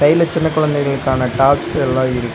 side ல சின்ன குழந்தைகளுக்கான டாப்ஸ் எல்லா இருக் --